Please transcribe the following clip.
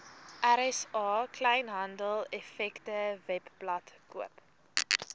rsa kleinhandeleffektewebblad koop